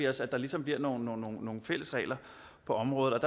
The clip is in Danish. os at der ligesom bliver nogle fælles regler på området